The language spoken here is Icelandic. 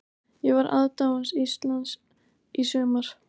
Ég var aðdáandi Íslands í sumar.